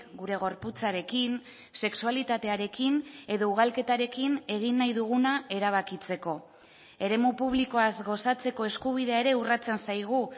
gure gorputzarekin sexualitatearekin edo ugalketarekin egin nahi duguna erabakitzeko eremu publikoaz gozatzeko eskubidea ere urratzen zaigu